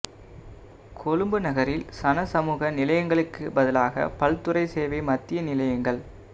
கொழும்பு நகரில் சனசமூக நிலையங்களுக்கு பதிலாக பல்துறை சேவை மத்திய நிலையங்கள்